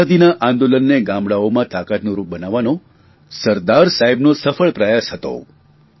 આઝાદીના આંદોલનને ગામડાંઓમાં તાકાતનું રૂપ બનાવવાનો સરદાર સાહેબનો સફળ પ્રયાસ હતો